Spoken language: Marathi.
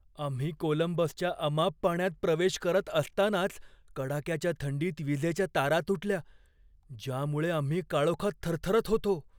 आम्ही कोलंबसच्या अमाप पाण्यात प्रवेश करत असतानाच कडाक्याच्या थंडीत विजेच्या तारा तुटल्या, ज्यामुळे आम्ही काळोखात थरथरत होतो.